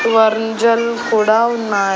వర్ంజలు కూడా ఉన్నాయ్.